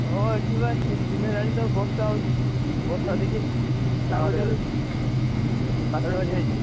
ହଁ, ଏଠିବା ତିନ ଦିନ ହେଲାଣି ତ ବର୍ଷା ହଉଛି, ବର୍ଷା ଦେଖିଲି